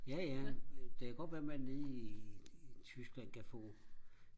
jaja det kan godt være man nede i i Tyskland kan få